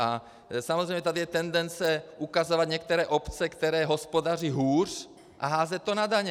A samozřejmě tady je tendence ukazovat některé obce, které hospodaří hůř, a házet to na daně.